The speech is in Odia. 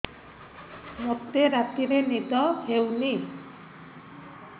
ମୋତେ ରାତିରେ ନିଦ ହେଉନି